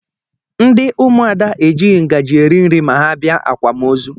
Ndị ụmụada ejighi ngaji eri nri ma ha bịa akwamozu